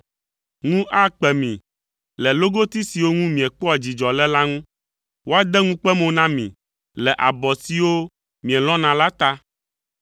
“Ŋu akpe mi le logoti siwo ŋu miekpɔa dzidzɔ le la ŋu; woade ŋukpe mo na mi le abɔ siwo mielɔ̃na la ta.